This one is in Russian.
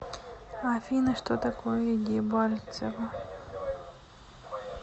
афина что такое дебальцево